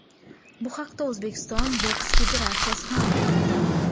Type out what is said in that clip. Bu haqda O‘zbekiston boks federatsiyasi ma’lum qildi.